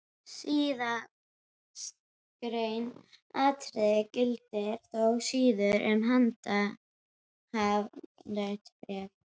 Síðastgreint atriði gildir þó síður um handhafahlutabréf.